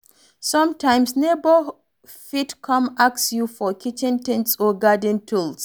Sometimes neighbour fit come ask you for kitchen things or garden tools